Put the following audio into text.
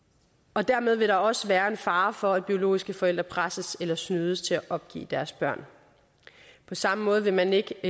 og dermed vil der også være en fare for at biologiske forældre presses eller snydes til at opgive deres børn på samme måde vil man ikke